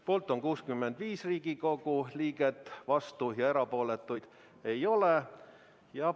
Poolt on 85 Riigikogu liiget, vastuolijaid ja erapooletuid ei ole.